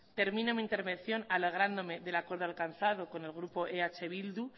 termino mi intervención alegrándome del acuerdo alcanzado con el grupo eh bildu